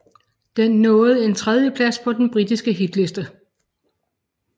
Den nåede en tredieplads på den britiske hitliste